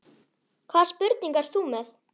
Hvaða spurningu ert þú með?